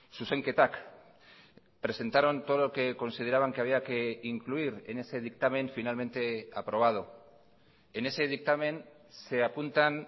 zuzenketak presentaron todo lo que consideraban que había que incluir en ese dictamen finalmente aprobado en ese dictamen se apuntan